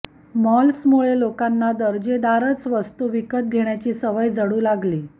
मॉल्समुळे लोकांना दर्जेदारच वस्तू विकत घेण्याची सवय जडू लागली